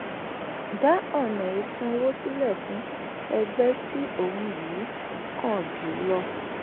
dá ọ̀nà ìsanwó sílẹ̀ fún ẹgbẹ́ tí ohun yìí kàn jù lọ.